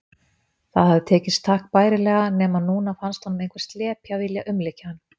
Það hafði tekist takk bærilega, nema núna fannst honum einhver slepja vilja umlykja hann.